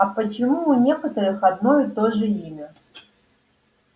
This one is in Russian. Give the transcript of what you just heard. а почему у некоторых одно и то же имя